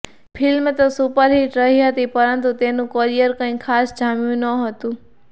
film તો superhit રહી હતી પરંતુ તેનું કરિયર કંઈ ખાસ જામ્યું નહોતું